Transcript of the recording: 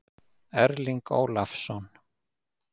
Erling Ólafsson.